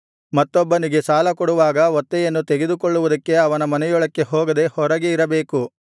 ಮತ್ತೊಬ್ಬನಿಗೆ ಸಾಲಕೊಡುವಾಗ ಒತ್ತೆಯನ್ನು ತೆಗೆದುಕೊಳ್ಳುವುದಕ್ಕೆ ಅವನ ಮನೆಯೊಳಕ್ಕೆ ಹೋಗದೆ ಹೊರಗೆ ಇರಬೇಕು